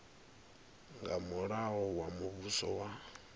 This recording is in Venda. nga mulayo wa muvhuso wa